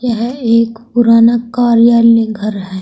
यह एक पुराना कार्यालय घर है।